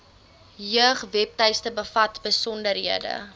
jeugwebtuiste bevat besonderhede